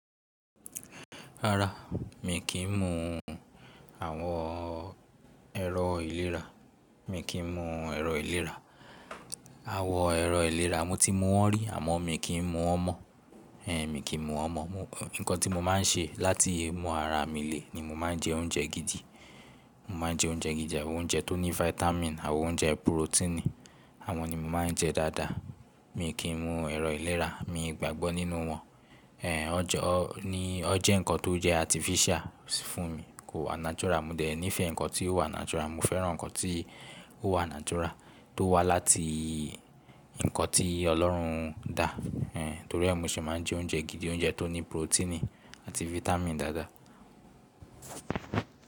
Rárá, mi kì n mu àwọn ẹ̀rọ ìlera, mi kì n mu ẹ̀rọ ìlera. Àwọn ẹ̀rọ ìlera mo ti mu wọn rí àmọ mi kì n mu wọ́n mọ́, ẹ n mi kì n mu wọ́n mọ́. Ohun nǹkan tí mo máa ń ṣe láti lé mú ara mi le ni mo máa ń jẹ oúnjẹ gidi, mo máa ń jẹ oúnjẹ gidi, àwọn oúnjẹ tó ní vitamin, àwọn oúnjẹ proteini, àwọn ni mo máa ń jẹ dáadáa. Mi kì í mu ẹ̀rọ ìlera, mi gbàgbọ́ nínú wọn ẹ on je, o, ní ó jẹ́ nǹkan tó jẹ́ artificial fún mi, kò wà natural. Mo dẹ̀ nífẹ̀ẹ́ nǹkan tí ó wà natural, mo fẹ́ràn nǹkan tí ó wà natural tó wá láti nǹkan tí Ọlọ́hun dá ẹ ntorí ẹ mo ṣe máa ń jẹ oúnjẹ gidi, oúnjẹ tó ní proteini àti vitamin dáadáa.